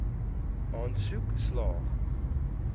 aansoek slaag